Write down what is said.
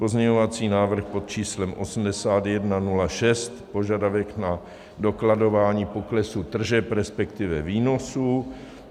Pozměňovací návrh pod číslem 8106 - požadavek na dokladování poklesu tržeb, respektive výnosů.